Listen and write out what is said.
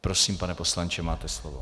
Prosím, pane poslanče, máte slovo.